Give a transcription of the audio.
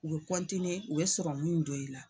U bɛ u bɛ don i la.